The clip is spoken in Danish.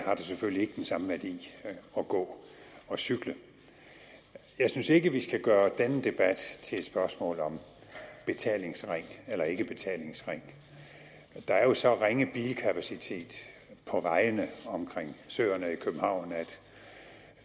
har det selvfølgelig ikke den samme værdi at gå og cykle jeg synes ikke vi skal gøre denne debat til et spørgsmål om betalingsring eller ikke betalingsring der er jo så ringe bilkapacitet på vejene omkring søerne i københavn at